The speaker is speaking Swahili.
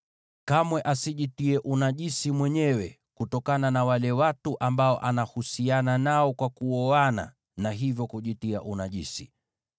Kamwe asijitie unajisi mwenyewe kutokana na wale watu ambao anahusiana nao kwa kuoana, na hivyo kujitia unajisi.